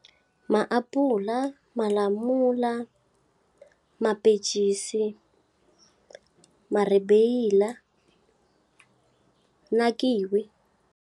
Maapula, malamula, mapencisi, maribeyila na kiwi.